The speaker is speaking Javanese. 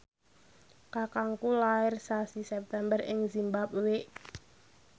kakangku lair sasi September ing zimbabwe